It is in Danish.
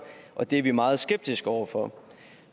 det er vi meget skeptisk over for